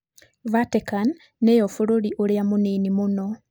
Vatican nĩyo bũrũri ũrĩa mũnini mũno.